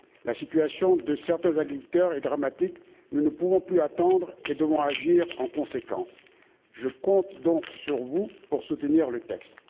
La situation de certains agriculteurs est dramatique, nous ne pouvons plus attendre et devons agir en conséquence. Je compte donc sur vous pour soutenir le texte.